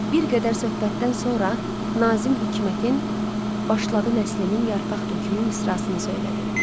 Bir qədər söhbətdən sonra Nazim Hikmətin başladı nəslimin yarpaq tökümü misrasını söylədi.